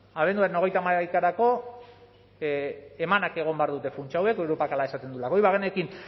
abenduaren hogeita hamaikarako emanak egon behar dute funtsa hauek europak hala esaten duelako hori bagenekin